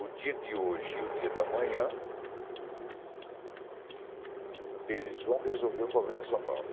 o dia de hoje e o dia da manhã, eles vão resolver o problema de São Paulo.